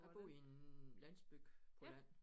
Jeg bor i en landsby på landet